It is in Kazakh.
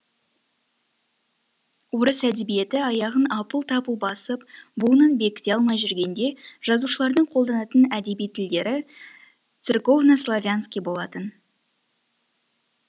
орыс әдебиеті аяғын апыл тапыл басып буынын бекіте алмай жүргенде жазушылардың қолданатын әдеби тілдері церковнославянский болатын